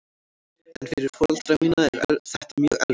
En fyrir foreldra mína er þetta mjög erfitt.